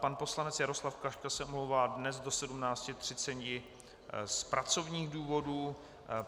Pan poslanec Jaroslav Klaška se omlouvá dnes do 17.30 z pracovních důvodů.